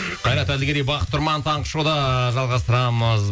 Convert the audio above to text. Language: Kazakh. қайрат әділгерей бақыт тұрман таңғы шоуда жалғастырамыз